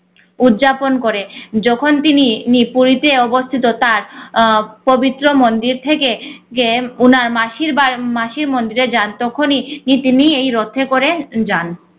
উদযাপন করে। যখন তিনি নিপরিতে অবস্থিত তার আহ পবিত্র মন্দির থেকে কে উনার মাসির বা~ মাসির মন্দিরে যান তখনি ই তিনি এই রথে করে যান